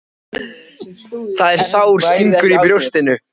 Það er sár stingur í brjóstinu.